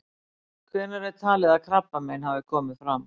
Hvenær er talið að krabbamein hafi komið fram?